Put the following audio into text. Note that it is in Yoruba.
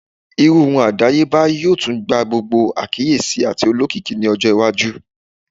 Irun irun adayeba yoo tun gba gbogbo akiyesi ati olokiki ni ọjọ iwaju